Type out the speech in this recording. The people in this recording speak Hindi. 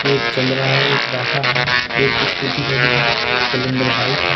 एक चल रहा है एक बैठा है एक स्कूटी खड़ी है स्प्लेंडर बाइक है।